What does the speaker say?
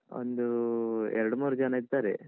ಒಂದು ಎರಡು ಮೂರು ಜನ ಇದ್ದಾರೆ.